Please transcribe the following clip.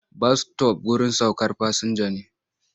Bas-sitof wurin saukar fasinja ne.